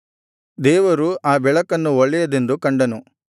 ದೇವರು ಆ ಬೆಳಕನ್ನು ಒಳ್ಳೆಯದೆಂದು ಕಂಡನು